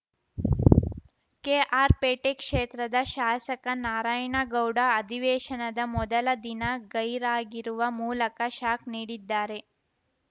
ಕೆಆರ್‌ಪೇಟೆ ಕ್ಷೇತ್ರದ ಶಾಸಕ ನಾರಾಯಣ ಗೌಡ ಅಧಿವೇಶನದ ಮೊದಲ ದಿನ ಗೈರಾಗಿರುವ ಮೂಲಕ ಶಾಕ್‌ ನೀಡಿದ್ದಾರೆ